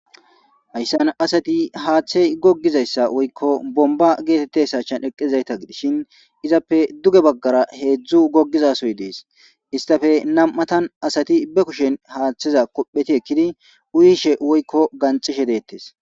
hayssan asati haaththey gogizayssa woykko bomba geetette sachan eqqezayta gidishin izappe duge baggara heedzdzu gogizasoy dees istafe nam7atan asati be kushen haaththeza kopheti ekkidi uuyishe woykko ganxishe deettes